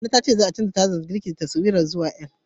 Nana ta ce za'a canja tsarin ɗakin girkin zuwa taswirar L.